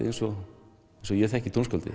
eins og ég þekki tónskáldið